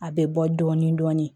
A bɛ bɔ dɔɔnin dɔɔnin